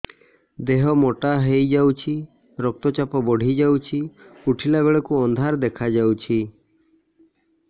ଦେହ ମୋଟା ହେଇଯାଉଛି ରକ୍ତ ଚାପ ବଢ଼ି ଯାଉଛି ଉଠିଲା ବେଳକୁ ଅନ୍ଧାର ଦେଖା ଯାଉଛି